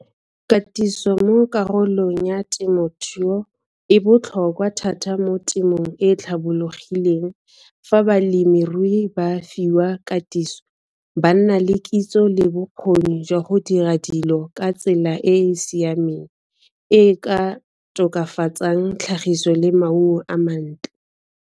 Katiso mo karolong ya temothuo e botlhokwa thata mo temong e e tlhabologileng fa balemirui ba fiwa katiso, ba nna le kitso le bokgoni jwa go dira dilo ka tsela e e siameng e e ka tokafatsang tlhagiso le maungo a mantle.